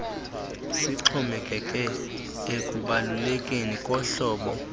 sixhomekeke ekubalulekeni kohlobo